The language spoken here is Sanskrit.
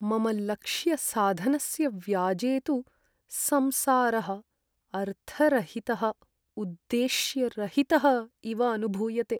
मम लक्ष्यसाधनस्य व्याजे तु संसारः अर्थरहितः उद्देश्यरहितः इव अनुभूयते।